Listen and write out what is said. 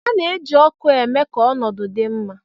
A na-eji ọkụ na-eme ka ọnọdụ dị mma.